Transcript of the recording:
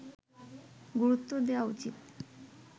গুরুত্ব দেয়া উচিত